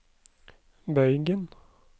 bøygen